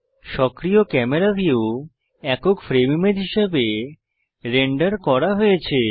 সক্রিয় camera view একক frame image হিসাবে রেন্ডার করা হয়েছে